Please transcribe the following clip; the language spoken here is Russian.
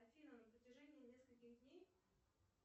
афина на протяжении нескольких дней